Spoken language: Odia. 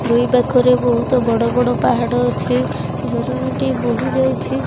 ଦୁଇ ପାଖରେ ବହୁତ ବଡ଼ବଡ଼ ପାହାଡ ଅଛି ଝରଣାଟି ବୋହି ଯାଇଛି।